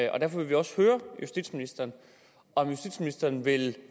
og derfor vil vi også høre justitsministeren om justitsministeren vil